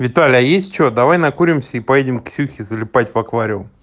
виталя есть что давай накуримся и поедем к ксюхе залипать в аквариум